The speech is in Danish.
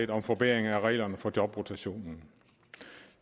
om forbedring af reglerne for jobrotationen